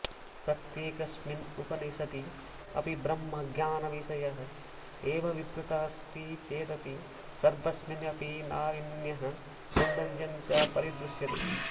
प्रत्येकस्मिन् उपनिषदि अपि ब्रह्मज्ञानविषयः एव विवृतः अस्ति चेदपि सर्वस्मिन् अपि नावीन्यं सौन्दर्यञ्च परिदृश्यते